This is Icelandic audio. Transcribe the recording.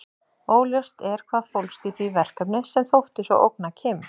Óljóst er hvað fólst í því verkefni sem þótti svo ógna Kim.